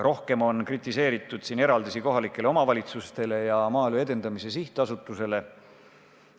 Rohkem on kritiseeritud eraldisi kohalikele omavalitsustele ja Maaelu Edendamise Sihtasutusele.